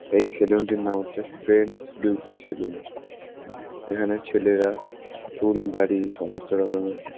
এই সেলুন টির নাম হচ্ছে ফ্রেন্ডস বিউটি সেলুন এখানে ছেলেরা চুল দাড়ি সমস্ত রকমের --